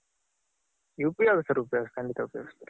ಉಪಯೋಗಿಸ್ತಾರೆ ಉಪಯೋಗಿಸ್ತಾರೆ ಖಂಡಿತ ಉಪಯೋಗಿಸ್ತಾರೆ.